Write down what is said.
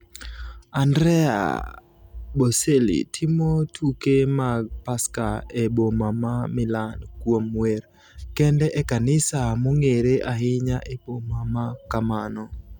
Andrea Bocelli timo tuke mag Paska e boma ma Milan kuom wer kende e kanisa mong’ere ahinya e boma ma kamano.